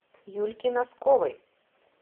юльке носковой